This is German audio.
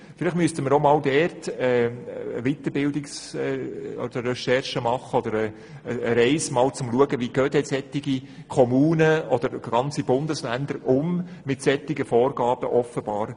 Vielleicht sollten wir einmal eine Recherche oder Weiterbildung betreiben, um herauszufinden, wie solche Kommunen oder ganze Bundesländer mit solchen Vorgaben umgehen.